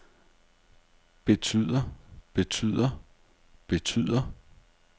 betyder betyder betyder